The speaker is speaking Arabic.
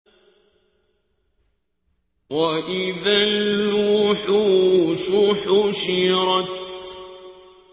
وَإِذَا الْوُحُوشُ حُشِرَتْ